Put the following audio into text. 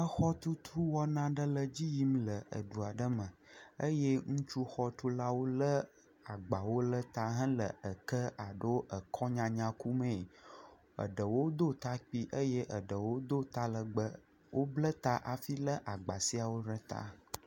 Exɔtutuwɔna aɖe le edzi yim le edu aɖe me eye ŋutsu xɔtula lé agbawo le ta hele eke alo ekɔ nyanya ku mee, eɖewo do ta kpui eye eɖewo do ta legbee, wobla ta afi lé agba siawo ɖe ta.